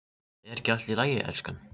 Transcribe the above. Er ekki allt í lagi, elskan?